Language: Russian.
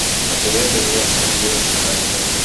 посоветуй мне картину чиполлино